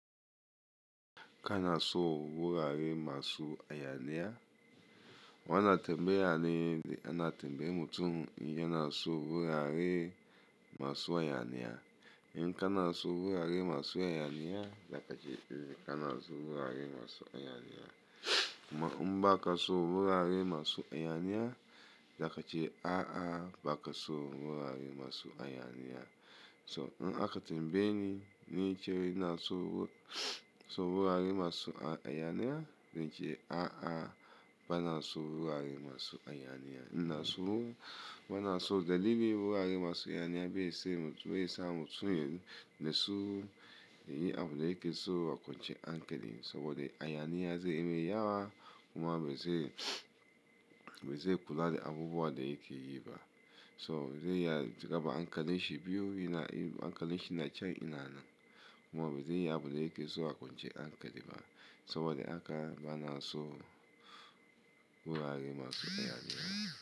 Ka na so wurare masu hayaniya? Wannan tembaya ne, ana tembayar mutum in yanason wurare masu hayaniya in ka na son wurare masu hayaniya, zaka ce ka na son wurare masu hayaniya. Ammm in ba ka son wurare masu hayaniya, zakace a'a ba ka son wurare masu hayaniya. To in aka tambaye ni, wani ya ce ina so son wurare masu hayaniya, zan ce a'a bana son wurare masu hayaniya. Ina so bana so dalili wurare masu hayaniya bai sa mutum bai sa mutum ya natsu ya yi abunda yake so a kwanciyar hankali, saboda hayaniya zai yi mai yawa kuma ba zai ba zai kula da abubuwan da yake yi ba. So zai iya raba hankalin shi biyu, yana hankalin shi na can yana nan kuma ba zai yi abinda yake so a kwanciyar hankali ba, saboda haka ba na son wurare masu hayaniya.